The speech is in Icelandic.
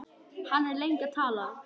Hann er lengi að tala.